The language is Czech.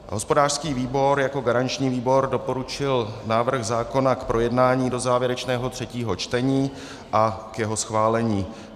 Hospodářský výbor jako garanční výbor doporučil návrh zákona k projednání do závěrečného třetího čtení a k jeho schválení.